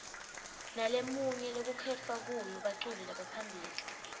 nalemnye lekukhetfwa kuyo baculi lebaphambili